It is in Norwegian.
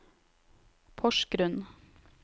Porsgrunn